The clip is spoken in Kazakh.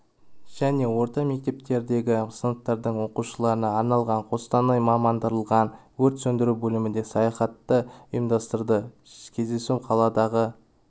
және орта мектептеріндегі сыныптардың оқушыларына арналған қостанай мамандандырылған өрт сөндіру бөлімінде саяхатты ұйымдастырды кездесу қаладағы